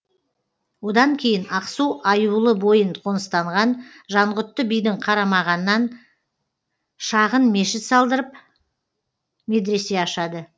одан кейін ақсу аюлы бойын қоныстанған жанғұтты бидің қарамағанан шағын мешіт салдырып медресе ашады